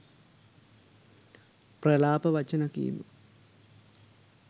ප්‍රලාප වචන කීම